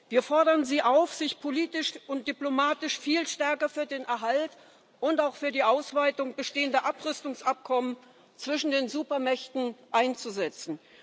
Wir fordern Sie auf, sich politisch und diplomatisch viel stärker für den Erhalt und auch für die Ausweitung bestehender Abrüstungsabkommen zwischen den Supermächten einzusetzen.